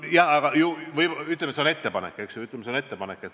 Selge, ütleme, et see on ettepanek.